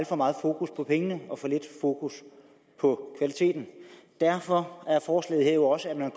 for meget fokus på pengene og for lidt fokus på kvaliteten derfor er forslaget her jo også at man